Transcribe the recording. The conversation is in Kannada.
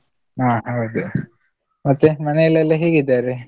ಹಾ ಹೌದು. ಮತ್ತೆ ಮನೆಲೆಲ್ಲಾ ಹೇಗಿದ್ದಾರೆ?